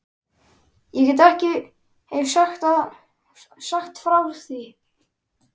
Ég get ekki sagt frá því.